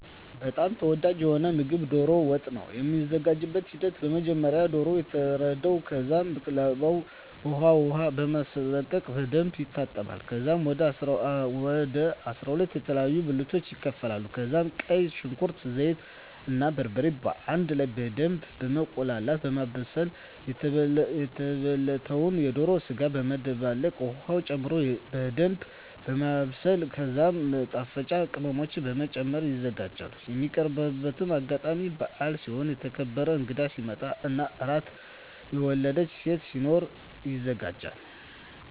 በጣም ተወዳጂ የሆነዉ ምግብ ዶሮ ወጥ ነዉ። የሚዘጋጅበትም ሂደት በመጀመሪያ ዶሮዉ ይታረዳል ከዛም ላባዉን በዉቅ ዉሃ በማስለቀቅ በደንብ ይታጠባል ከዛም ወደ 12 የተለያዩ ብልቶች ይከፋፈላል ከዛም ቀይ ሽንኩርት፣ ዘይት እና በርበሬ በአንድ ላይ በደምብ በማቁላላት(በማብሰል) የተበለተዉን የዶሮ ስጋ በመደባለቅ ዉሀ ጨምሮ በደንምብ ማብሰል ከዛም ማጣፈጫ ቅመሞችን በመጨመር ይዘጋጃል። የሚቀርብበትም አጋጣሚ በአል ሲሆን፣ የተከበረ እንግዳ ሲመጣ እና አራስ (የወለደች ሴት) ሲኖር ይዘጋጃል።